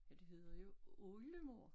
Men det hedder jo oldemor